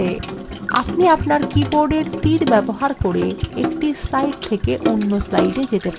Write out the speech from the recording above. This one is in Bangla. আপনি আপনার কীবোর্ডের তীর ব্যবহার করে একটি slides থেকে অন্য slidesএ যেতে পারেন